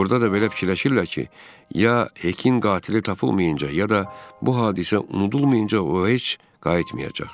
Burda da belə fikirləşirlər ki, ya Hekin qatili tapılmayınca ya da bu hadisə unudulmayınca o heç qayıtmayacaq.